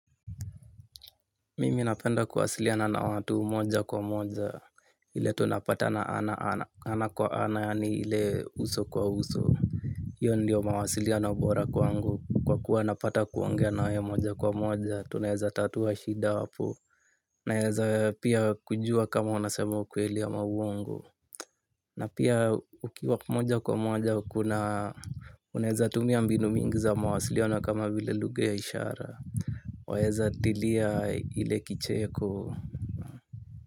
Mimi napenda kuwasiliana na watu moja kwa moja ile tunapatana ana kwa ana yaani ile uso kwa uso. Hiyo ndiyo mawasiliano bora kwangu kwa kuwa napata kuongea na wewe moja kwa moja tunaeza tatua shida hapo. Naeza pia kujua kama unasema ukweli ama uongo. Na pia ukiwa moja kwa moja kuna unaeza tumia mbinu mingi za mawasiliano kama vile lugha ya ishara. Waeza dilia ile kicheko.